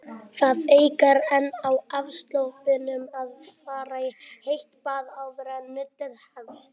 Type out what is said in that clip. Það eykur enn á afslöppunina að fara í heitt bað áður en nuddið hefst.